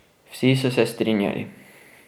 Vsi so se strinjali.